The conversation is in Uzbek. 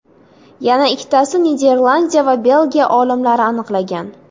Yana ikkitasi Niderlandiya va Belgiya olimlari aniqlagan .